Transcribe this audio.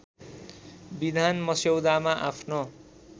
विधान मस्यौदामा आफ्नो